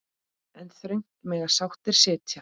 En þröngt mega sáttir sitja.